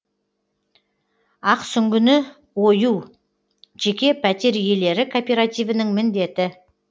ақсүңгіні ою жеке пәтер иелері кооперативінің міндеті